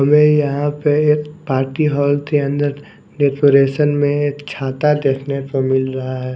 हमें यहां पे ये पार्टी हॉल के अंदर डेकोरेशन में एक छाता देखने को मिल रहा है।